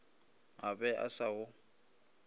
a be a sa go